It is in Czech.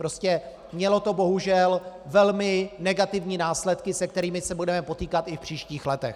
Prostě mělo to bohužel velmi negativní následky, se kterými se budeme potýkat i v příštích letech.